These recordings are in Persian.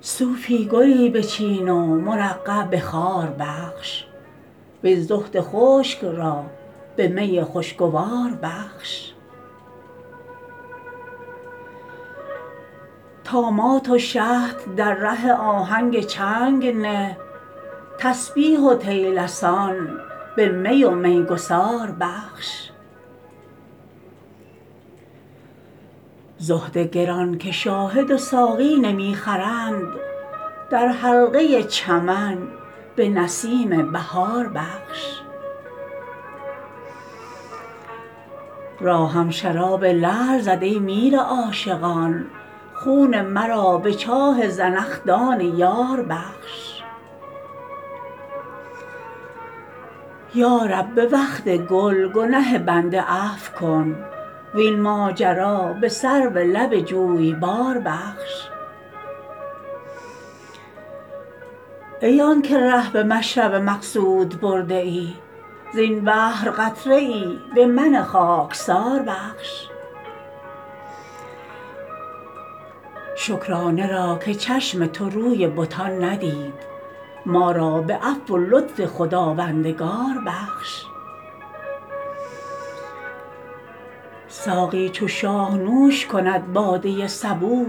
صوفی گلی بچین و مرقع به خار بخش وین زهد خشک را به می خوشگوار بخش طامات و شطح در ره آهنگ چنگ نه تسبیح و طیلسان به می و میگسار بخش زهد گران که شاهد و ساقی نمی خرند در حلقه چمن به نسیم بهار بخش راهم شراب لعل زد ای میر عاشقان خون مرا به چاه زنخدان یار بخش یا رب به وقت گل گنه بنده عفو کن وین ماجرا به سرو لب جویبار بخش ای آن که ره به مشرب مقصود برده ای زین بحر قطره ای به من خاکسار بخش شکرانه را که چشم تو روی بتان ندید ما را به عفو و لطف خداوندگار بخش ساقی چو شاه نوش کند باده صبوح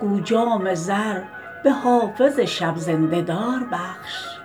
گو جام زر به حافظ شب زنده دار بخش